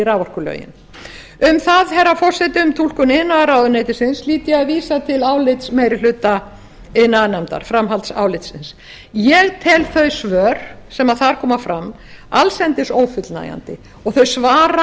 raforkulögin um túlkun iðnaðarráðuneytisins hlýt ég að vísa til framhaldsálits meiri hluta iðnaðarnefndar ég tel þau svör sem þar koma fram allsendis ófullnægjandi og þau svara